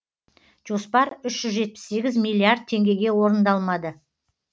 жоспар үш жүз жетпіс сегіз миллиард теңгеге орындалмады